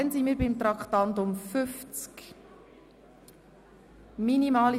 Nun kommen wir zu Traktandum 50.